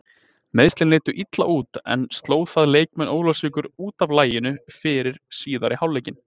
Meiðslin litu illa út en sló það leikmenn Ólafsvíkur út af laginu fyrir síðari hálfleikinn?